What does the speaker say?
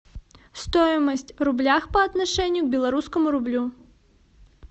стоимость в рублях по отношению к белорусскому рублю